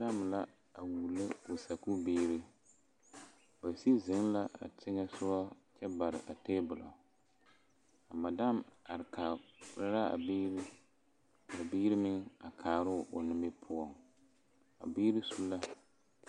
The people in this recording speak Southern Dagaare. Madam la a wullo o sakubiiri ba sigi zeŋ la a teŋɛ soga kyɛ bare a table madam are kaara la a biiri a biiri meŋ a kaara o nimipoɔŋ a biiri su la.